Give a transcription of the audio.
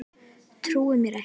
Þú trúir mér ekki?